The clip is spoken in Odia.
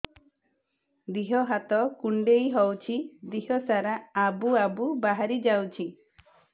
ଦିହ ହାତ କୁଣ୍ଡେଇ ହଉଛି ଦିହ ସାରା ଆବୁ ଆବୁ ବାହାରି ଯାଉଛି